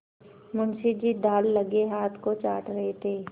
मुंशी जी दाललगे हाथ को चाट रहे थे